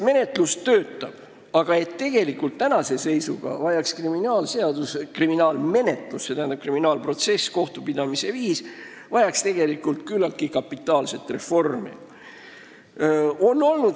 Kriminaalmenetlus küll n-ö töötab, kuid kriminaalprotsess ja kohtupidamise viis vajaksid küllaltki kapitaalset reformi.